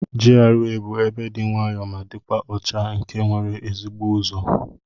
GRA bu ebe di nwayo ma dikwa ọcha nke nwere ezigbo uzọ.